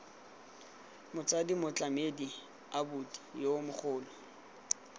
motsadi motlamedi abuti yo mogolo